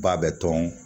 Ba bɛ tɔn